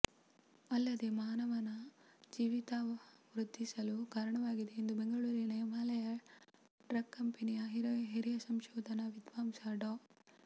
ಅಲ್ಲದೆ ಮಾನವನ ಜೀವಿತಾವ ವೃದ್ಧಿಸಲು ಕಾರಣವಾಗಿದೆ ಎಂದು ಬೆಂಗಳೂರಿನ ಹಿಮಾಲಯ ಡ್ರಗ್ ಕಂಪೆನಿಯ ಹಿರಿಯ ಸಂಶೋಧನಾ ವಿದ್ವಾಂಸ ಡಾ